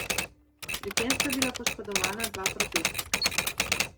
Pri tem sta bila poškodovana dva protestnika.